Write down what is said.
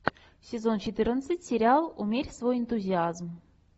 сезон четырнадцать сериал умерь свой энтузиазм